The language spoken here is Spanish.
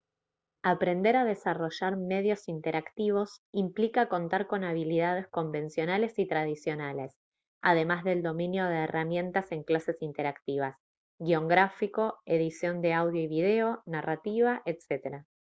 aprender a desarrollar medios interactivos implica contar con habilidades convencionales y tradicionales además del dominio de herramientas en clases interactivas guion gráfico edición de audio y video narrativa etc.